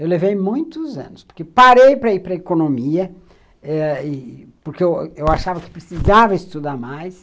Eu levei muitos anos, porque parei para ir para a economia ãh, porque eu achava que precisava estudar mais.